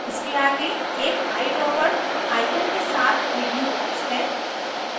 इसके आगे एक eyedropper eyedropper icon के साथ प्रीव्यू box है